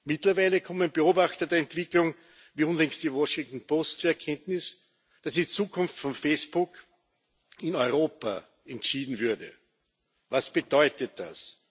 Mittlerweile kommen Beobachter der Entwicklung wie unlängst die Washington Post zur Erkenntnis, dass die Zukunft von Facebook in Europa entschieden würde. Was bedeutet das?